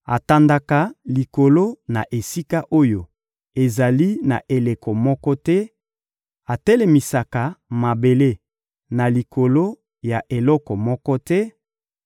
Atandaka likolo na esika oyo ezali na eloko moko te, atelemisaka mabele na likolo ya eloko moko te,